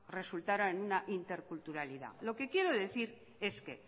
resultara en una interculturalidad lo que quiero decir es que